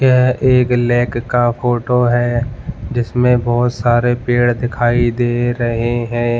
यहां एक लेक का फोटो है जिसमें बहुत सारे पेड़ दिखाई दे रहे हैं।